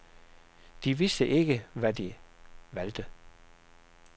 De vidste ikke, hvad de valgte.